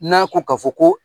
N'a ko ka fɔ ko